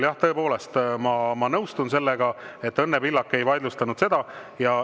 Ja tõepoolest, ma nõustun sellega, et Õnne Pillak ei vaidlustanud seda.